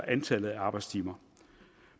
antallet af arbejdstimer